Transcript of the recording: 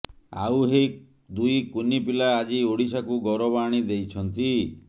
ଆଉ ଏହି ଦୁଇ କୁନି ପିଲା ଆଜି ଓଡ଼ିଶାକୁ ଗୌରବ ଆଣିଦେଇଛନ୍ତି